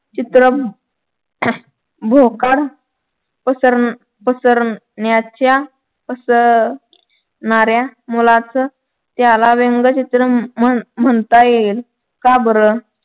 चित्र भोकाड पसर पसर पसरण्याच्या पसरण्याऱ्या मुलाचं त्याला व्यंगचित्र म्हण म्हणता येईल का बर.